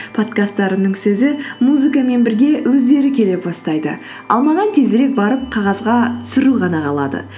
подкасттарымның сөзі музыкамен бірге өздері келе бастайды ал маған тезірек барып қағазға түсіру ғана қалады